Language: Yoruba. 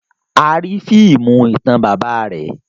A ri fiimu itan baba rẹ.